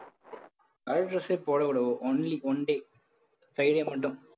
color dress யே போடக் கூடாது only one day friday மட்டும்.